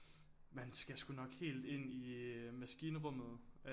Man skal sgu nok helt ind i maskinrummet